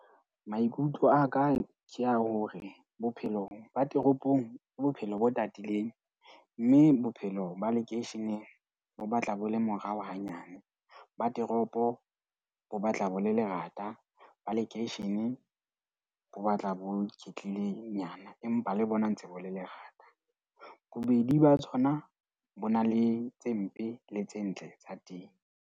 Maikutlo a ka ke ya hore bophelo ba toropong ke bophelo bo tatileng. Mme bophelo ba lekeisheneng bo batla bo le morao hanyane. Ba toropo bo batla bo le lerata. Ba lekeisheneng bo batla bo iketlile nyana. Empa le bona ntse bo le lerata. Bobedi ba tsona bo na le tse mpe le tse ntle tsa teng.